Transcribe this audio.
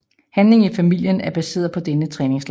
Handlingen i filmen er baseret på denne træningslejr